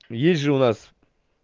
есть же у нас